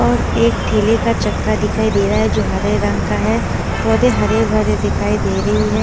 और एक ठेले का चक्का दिखाई दे रहा है जो हरे रंग का है पौधे हरे भरे दिखाई दे रही हैं।